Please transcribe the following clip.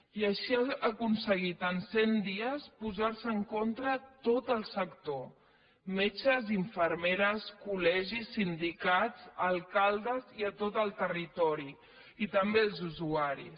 i així ha aconseguit en cent dies posar se en contra tot el sector metges infermeres col·legis sindicats alcaldes i tot el territori i també els usuaris